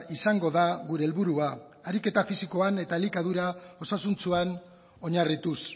izango da gure helburua ariketa fisikoan eta elikadura osasuntsuan oinarrituz